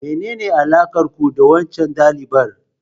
Menene alakar ku da waccan dalibar?